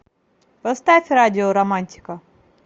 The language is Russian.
поставь радио романтика